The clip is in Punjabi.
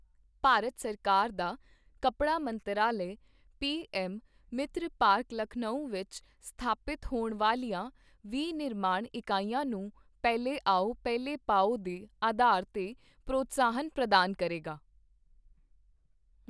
ਭਾਰਤ ਸਰਕਾਰ ਦਾ ਕੱਪੜਾ ਮੰਤਰਾਲੇ, ਪੀਐੱਮ ਮਿਤ੍ਰ ਪਾਰਕ ਲਖਨਊ ਵਿੱਚ ਸਥਾਪਿਤ ਹੋਣ ਵਾਲੀਆਂ ਵਿਨਿਰਮਾਣ ਇਕਾਈਆਂ ਨੂੰ ਪਹਿਲੇ ਆਓ, ਪਹਿਲੇ ਪਾਓ ਦੇ ਅਧਾਰ ਤੇ ਪ੍ਰੋਤਸਾਹਨ ਪ੍ਰਦਾਨ ਕਰੇਗਾ।